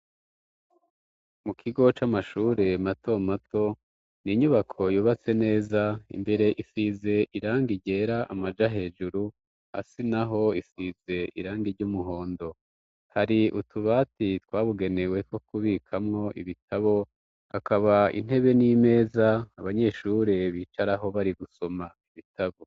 Mu kigo c'amashure mato mato ni inyubako yubatse neza imbere isize iranga iryera amaja hejuru asi na ho isize iranga iry'umuhondo hari utubati twabugeneweko kubikamwo ibitabo akaba intebe n'imeza abanyesur curee bicaraho bari gusoma ibitavu.